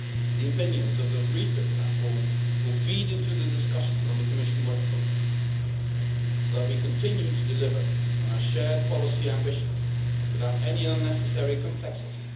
The opinions of the REFIT Platform will feed into the discussions on the Commission Work Programme so that we continue to deliver on our shared policy ambitions without any unnecessary complexity.